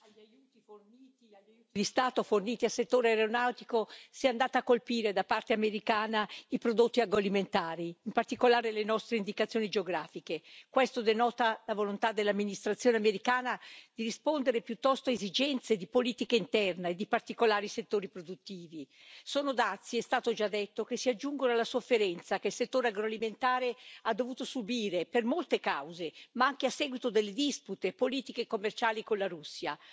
Signora Presidente, onorevoli colleghi, in reazione agli aiuti di Stato forniti al settore aeronautico si sono andati a colpire, da parte americana, i prodotti agroalimentari, in particolare le nostre indicazioni geografiche. Questo denota la volontà dell'amministrazione americana di rispondere piuttosto a esigenze di politica interna e di particolari settori produttivi. Sono dazi, è stato già detto, che si aggiungono alla sofferenza che il settore agroalimentare ha dovuto subire per molte cause, ma anche a seguito delle dispute politiche e commerciali con la Russia.